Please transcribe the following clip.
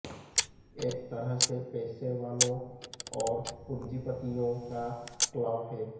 एक तरह से पैसे वालों और पूंजीपतियों का क्लब है